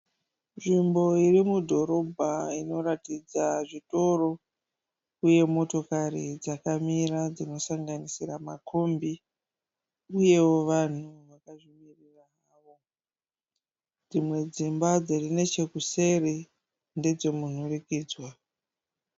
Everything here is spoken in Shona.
Nzvimbo iri mudhorobha inoratidza zvitoro uye motokari dzakamira dzinosanganisira makombi uyewo vanhu vakazvimirira zvavo. Dzimwe dzimba dziri nechekuseri ndedzemunhurikidzwa.